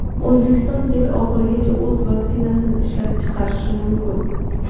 O‘zbekiston yil oxirigacha o‘z vaksinasini ishlab chiqarishi mumkin.